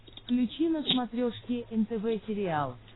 включи на смотрешке нтв сериал